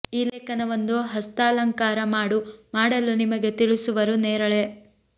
ಈ ಲೇಖನ ಒಂದು ಹಸ್ತಾಲಂಕಾರ ಮಾಡು ಮಾಡಲು ನಿಮಗೆ ತಿಳಿಸುವರು ನೇರಳೆ